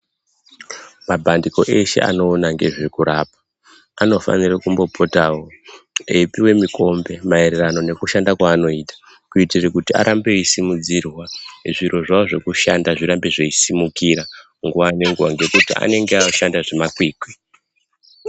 Mapandiko eshe anoona ngezvekurapa anofanire kumbopotawo echipuwe mikombe maererano nekushanda kwavanoita kuitire kuti arambe eisimudzirwa zviro zvavo zvekushanda zvirambe zveisumukira nguwa ngenguwa ngekuti vanenge veishanda zvemakwikwi.